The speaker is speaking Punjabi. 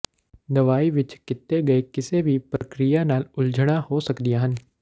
ਦਵਾਈ ਵਿੱਚ ਕੀਤੇ ਗਏ ਕਿਸੇ ਵੀ ਪ੍ਰਕਿਰਿਆ ਨਾਲ ਉਲਝਣਾਂ ਹੋ ਸਕਦੀਆਂ ਹਨ